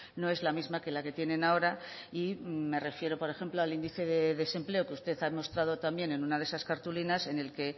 no es la misma que la que tiene ahora y me refiero por ejemplo al índice de desempleo que usted ha demostrado en una de esas cartulinas en el que